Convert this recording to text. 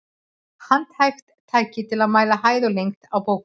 Handhægt tæki til að mæla hæð og lengd á bókum.